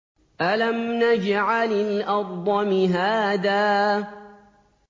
أَلَمْ نَجْعَلِ الْأَرْضَ مِهَادًا